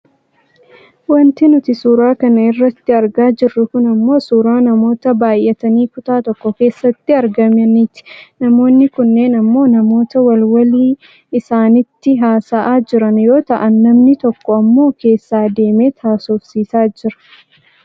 Wanti nuti suura kana irratti argaa jirru kun ammoo suuraa namoota baayyatanii kutaa tokko keessatti argamaniiti. Namoonni kunneen ammoo namoota wal walii isaaniitti haasa'aa jiran yoo ta'an namni tokko ammoo keessa deemeet haasofsiisaa jira.